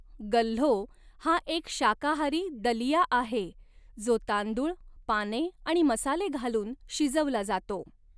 गल्हो हा एक शाकाहारी दलिया आहे, जो तांदूळ, पाने आणि मसाले घालून शिजवला जातो.